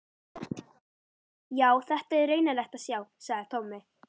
Já, þetta er raunalegt að sjá, sagði Tommi.